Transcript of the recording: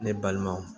Ne balimaw